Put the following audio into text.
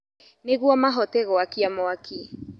Nĩguo mahote gwakia mwaki.